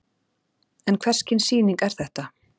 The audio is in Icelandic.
En hvers kyns sýning er þetta?